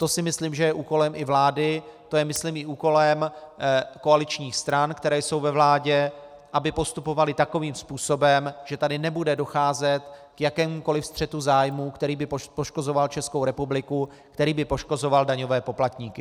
To si myslím, že je úkolem i vlády, to je myslím i úkolem koaličních stran, které jsou ve vládě, aby postupovaly takovým způsobem, že tady nebude docházet k jakémukoli střetu zájmů, který by poškozoval Českou republiku, který by poškozoval daňové poplatníky.